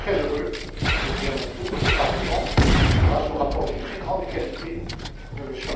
Je suis très heureux je le dis à mon tour que le Parlement, grâce au rapport de très grande qualité de M.